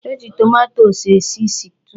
E ji tomato esi stiu.